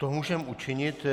To můžeme učinit.